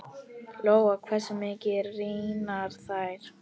Lóa: Hversu mikið rýrna þær?